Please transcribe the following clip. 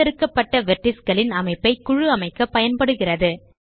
தேர்ந்தெடுக்கப்பட் vertices களின் அமைப்பை குழுஅமைக்க பயன்படுகிறது